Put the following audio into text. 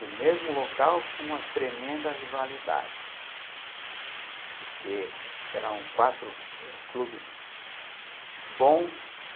do mesmo local com uma tremenda rivalidade porque eram quatro clubes bons